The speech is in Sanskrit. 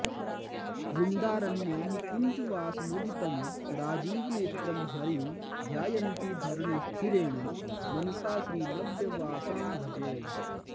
वृन्दारण्यनिकुञ्जवासमुदितं राजीवनेत्रं हरिं ध्यायन्ती धरणि स्थिरेण मनसा श्रीनव्यवासां भजे